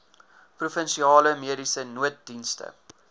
provinsiale mediese nooddienste